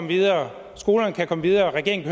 videre skolerne kan komme videre og regeringen